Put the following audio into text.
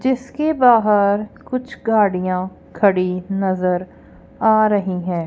जिसके बाहर कुछ गाड़ियां खड़ी नजर आ रही है।